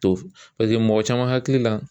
To paseke mɔgɔ caman hakili la